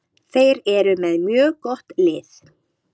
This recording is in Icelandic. Þeir eru með mjög gott lið.